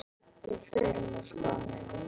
Við förum úr skónum.